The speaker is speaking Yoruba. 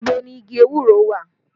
Ibo ni igi ewúro wà?